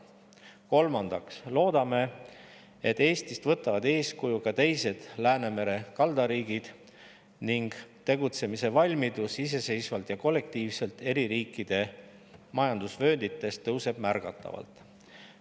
Kolmandaks loodame, et Eestist võtavad eeskuju teisedki Läänemere kaldariigid ning tegutsemise valmidus iseseisvalt ja kollektiivselt eri riikide majandusvööndites kasvab märgatavalt.